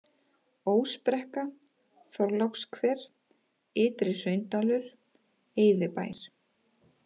Ósbrekka, Þorlákshver, Ytri-Hraundalur, Eyðibær